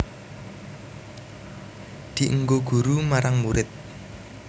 Dienggo guru marang murid